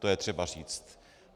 To je třeba říct.